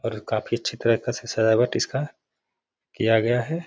और खाफी अच्छी तरह का से सजावट इसका किया गया है।